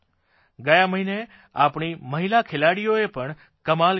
ગયા મહિને આપણી મહિલા ખેલાડીઓએ પણ કમાલ કરી બતાવી